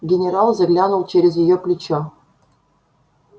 генерал заглянул через её плечо